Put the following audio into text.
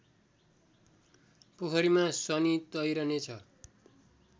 पोखरीमा शनि तैरने छ